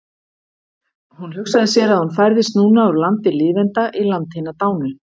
Hún hugsaði sér að hún færðist núna úr landi lifenda í land hinna dánu.